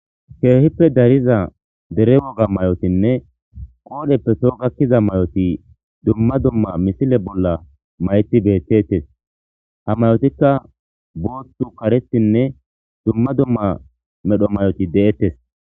Keehippe dariza dere woga mayotinne qoodheppeso gakkiza mayoti dumma dumma misile bolla mayti bettettes ha mayotikka boothtu karetinne dumma dumma medho may'oti de'ettes